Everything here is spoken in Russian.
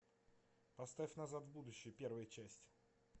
поставь назад в будущее первая часть